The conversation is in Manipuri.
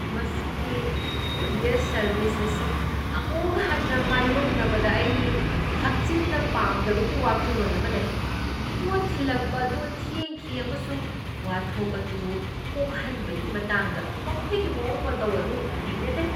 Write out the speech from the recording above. ꯃꯁꯤꯒꯤ ꯀꯨꯔꯤꯌꯔ ꯁꯔꯕꯤꯁ ꯑꯁꯤ ꯑꯃꯨꯛ ꯍꯟꯅ ꯃꯥꯏꯌꯣꯛꯅꯕꯗ ꯑꯩ ꯍꯛꯆꯤꯟꯅ ꯄꯥꯝꯗꯕꯒꯤ ꯋꯥꯈꯜꯂꯣꯟ ꯑꯃ ꯂꯩ ꯫ ꯄꯣꯠ ꯊꯤꯜꯂꯛꯄ ꯑꯗꯨ ꯊꯦꯡꯈꯤ, ꯑꯃꯁꯨꯡ ꯋꯥꯊꯣꯛ ꯑꯗꯨ ꯀꯣꯛꯍꯟꯕꯒꯤ ꯃꯇꯥꯡꯗ ꯃꯈꯣꯏꯒꯤ ꯃꯑꯣꯡ ꯃꯇꯧ ꯑꯗꯨ ꯍꯩꯅꯗꯦ ꯫